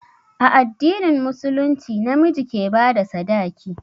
A addinin musulunci na miji ke ba da sadaki.